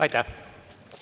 Aitäh!